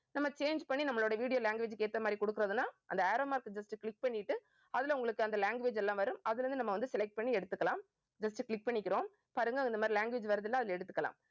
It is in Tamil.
நம்ம change பண்ணி நம்மளோட video language க்கு ஏத்த மாதிரி கொடுக்கிறதுன்னா அந்த arrow mark just click பண்ணிட்டு அதுல உங்களுக்கு அந்த language எல்லாம் வரும். அதுல இருந்து நம்ம வந்து select பண்ணி எடுத்துக்கலாம் just click பண்ணிக்கிறோம். பாருங்க இந்த மாதிரி language வருதுல்ல அதுல எடுத்துக்கலாம்